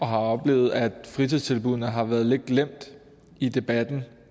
har oplevet at fritidstilbuddene har været lidt glemt i debatten